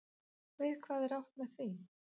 Við hvað er átt með því?